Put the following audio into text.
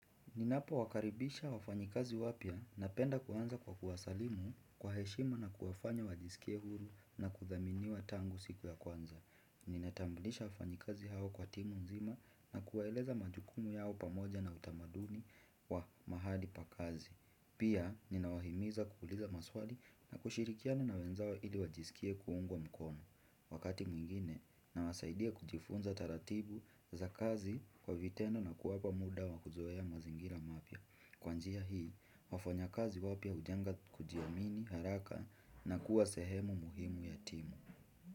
Ninapo wakaribisha wafanyikazi wapya na penda kuanza kwa kuwasalimu kwa heshima na kuwafanya wajisikie huru na kuthaminiwa tangu siku ya kwanza. Ninatambulisha wafanyikazi hao kwa timu nzima na kuwaeleza majukumu yao pamoja na utamaduni wa mahali pakazi. Pia, ninawahimiza kukuliza maswali na kushirikiano na wenzao ili wajisikie kuungwa mkono. Wakati mwingine na wasaidia kujifunza taratibu za kazi kwa vitendo na kuwapa muda wakuzoea mazingira mapya. Kwanjia hii, wafanya kazi wapya ujanga kujiamini haraka na kuwa sehemu muhimu yatimu.